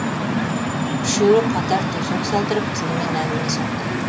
үшеуі қатар төсек салдырып түнімен әңгіме соқты